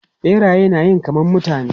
Biraye na yi kaman mutane.